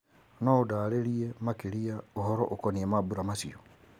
no ũndarĩrie makĩria ũhoro ũkoniĩ mambura macio